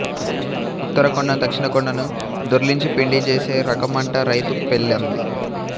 ఉత్తర కొండను దక్షిణ కొండను దొర్లించి పిండి జేసే రకమంట రైతు పెళ్ళాంది